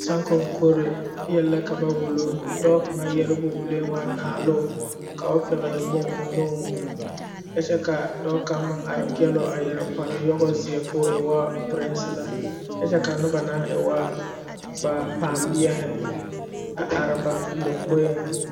Saŋkoŋkore yɛlɛ ka ba wulo wa dɔɔ kaŋa yɛrebo wuli ka naalo ka o pɛgle boŋ o nuŋ kyɛ ka dɔɔ kaŋ meŋ are peɛlr o a yɛre kparre yɔgo zeɛ k'o e ŋa perese la kyɛ ka a noba na e wa ba kpambeɛhi a are ba lomboeŋ.